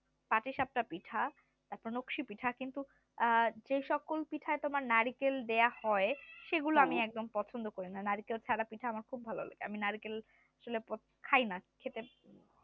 পাটি-সাপটা পিঠা তারপর নক্সী-পিঠা কিন্তু যে সকল পিঠাই তোমার নারিকেল দেওয়া হয় সেগুলো আমি একদম পছন্দ করি না নারকেল ছাড়া পিঠা আমার খুব ভালো লাগে আমি নারিকেল আসলে খাই না খেতে